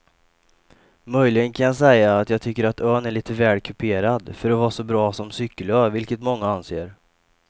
Möjligen kan jag säga att jag tycker att ön är lite väl kuperad för att vara så bra som cykelö vilket många anser.